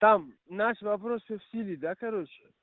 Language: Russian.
там наш вопрос всё в силе да короче